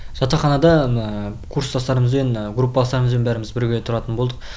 жатақханада курстастарымызбен группаластарымызбен бәріміз бірге тұратын болдық